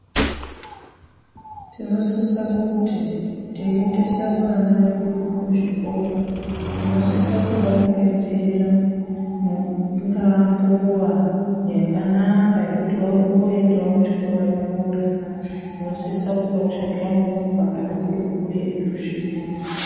Tinosisa kuti teiendesa vana vedu kuzvikora tinosisa kuvarongedzera ingaa mbuva yokuti voendawo kuchikorayo vorya, tinosisa kuvatsvakira movha kana kuri kuretu zviya.